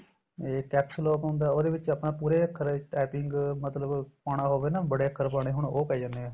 ਇਹ CAPSLOCK ਹੁੰਦਾ ਉਹਦੇ ਵਿੱਚ ਆਪਾਂ ਪੂਰੇ ਅਖਰ typing ਮਤਲਬ ਪਾਣਾ ਹੋਵੇ ਨਾ ਬੜੇ ਅਖਰ ਪਾਣੇ ਹੋਣ ਉਹ ਪੈ ਜਾਂਦੇ ਏ